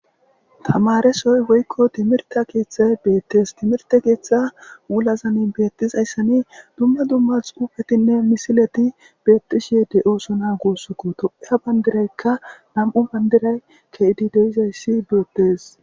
tamaresoy woykko timirte keeththay beettes timirte keeththa ulazani beettis hayssani dumma dumma xuufetinne misileti beettishe de7ooso na guussukko to7iya bandiraykka nam7u bandiray keedi deizayssi biyettes